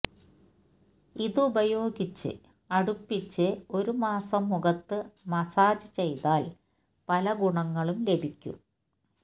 ഇതുപയോഗിച്ച് അടുപ്പിച്ച് ഒരു മാസം മുഖത്തു മസാജ് ചെയ്താല് പല ഗുണങ്ങളും ലഭിയ്ക്കും